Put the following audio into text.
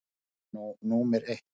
Það er nú númer eitt.